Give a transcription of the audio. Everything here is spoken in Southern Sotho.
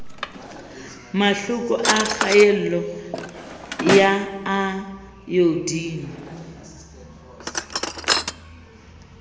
mahloko a kgaello ya ayodine